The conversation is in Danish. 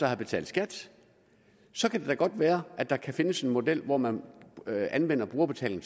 have betalt skat så kan det da godt være at der kan findes en model hvor man anvender brugerbetaling